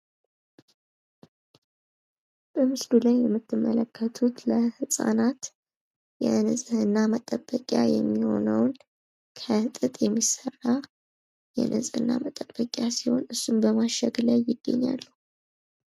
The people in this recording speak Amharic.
በምስሉ ላይ የምትመለከቱት ለ ህጻናት የንጽህና መጠበኪያ የሚሆነውን ከ ጥጥ የሚሰራ የንጽህና መጠበቂያ ሲሆን እሱን በማሸግ ላይ ይገኛሉ።